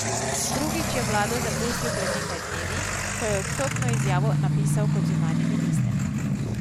Drugič je vlado zapustil pred nekaj dnevi, ko je odstopno izjavo napisal kot zunanji minister.